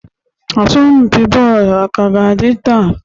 Asọmpi bọọlụ ka ga-adị taa?